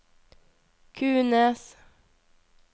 Kunes